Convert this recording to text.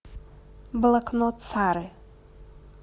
блокнот сары